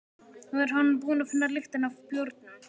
Nú er hann búinn að finna lyktina af bjórnum.